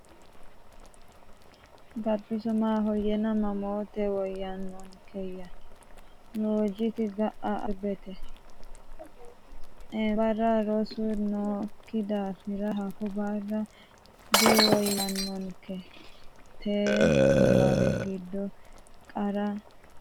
Gabbiso: Maahoyyena mammoote woyyaannonkeyya? Loggiti: Ga’a Arbete, Eembarra rosu nookki daafira hakko barra diwoyyannonke? Tenne niwaawe giddo qara misilaano ayeooti?